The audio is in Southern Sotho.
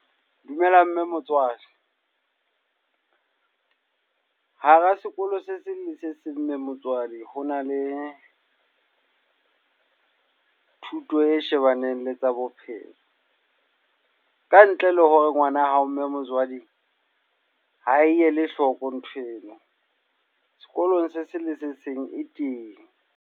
Dumela mme motswadi. Hara sekolo se seng le se seng mme motswadi ho na le thuto e shebaneng anele tsa bophelo. Ka ntle le hore ngwana hao mme motswadi ha ele hloko nthweno. Sekolong se seng le se seng e teng.